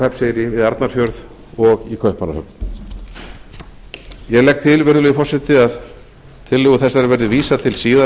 hrafnseyri við arnarfjörð og í kaupmannahöfn ég legg til virðulegi forseti að tillögu þessari verði vísað til síðari